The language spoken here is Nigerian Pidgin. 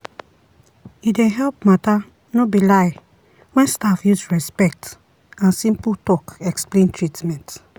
e dey help matter nor be lie when staff use respect and simple talk explain treatment.